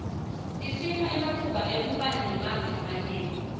tisipha ematfuba ekubana emave lamanye